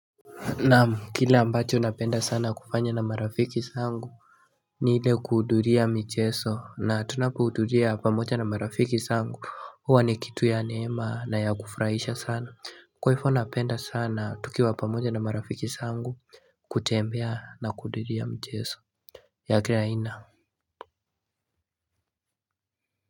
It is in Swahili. Naam kile ambacho napenda sana kufanya na marafiki zangu Niile kuudhuria micheso na tunapoudhuria pamoja na marafiki zangu huwa ni kitu ya neema na ya kufraisha sana Kwaivo napenda sana tukiwa pamoja na marafiki zangu kutembea na kuduria mcheso ya kira aina.